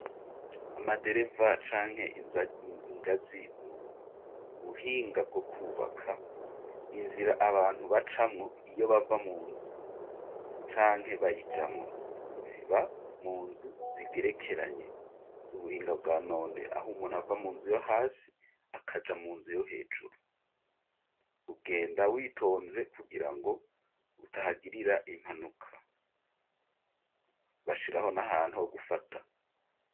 Amadereva canke ingazi n'ubuhinga bwo kwubaka inzira abantu bacamwo iyo bava mu nzu canke bayijamwo ziva mu nzu zigerekeranye z'ubuhinga bwa none aho umuntu ava mu nzu yo hasi akaja mu nzu yo hejuru ugenda witonze kugira ngo utahagirira impanuka bashiraho n'ahantu ho gufata.